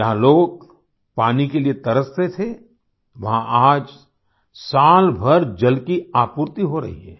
जहाँ लोग पानी के लिए तरसते थे वहाँ आज सालभर जल की आपूर्ति हो रही है